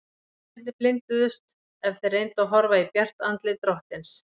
Og mennirnir blinduðust ef þeir reyndu að horfa í bjart andlit drottins.